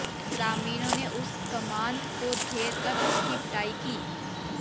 ग्रामीणों ने उस कामांध को घेर कर उसकी पिटाई की